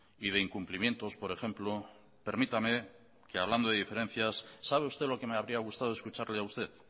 y de incumplimientos por ejemplo permítame que hablando de diferencias sabe usted lo que me habría gustado escucharle a usted